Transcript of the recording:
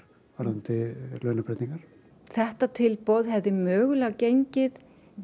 varðandi launabreytingar þetta tilboð hefði mögulega gengið